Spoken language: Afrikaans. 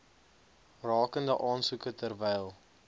rakende aansoeke terwyl